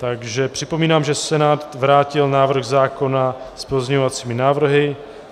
Takže připomínám, že Senát vrátil návrh zákona s pozměňovacími návrhy.